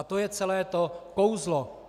A to je celé to kouzlo.